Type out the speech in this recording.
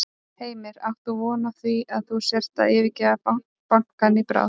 Heimir: Átt þú von á því að þú sért að yfirgefa bankann í bráð?